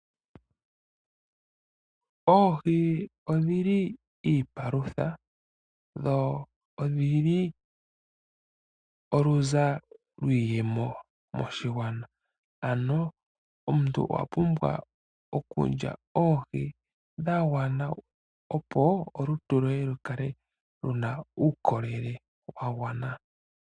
Oohii odhili onga iipalutha dho odhili onga oonzo dhiiyemo moshigwana. Omuntu owa pumbwa okulya oohi dha gwana opo olutu lwoye lu kale lu na uukolele wagwana.